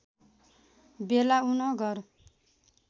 वेला उन घर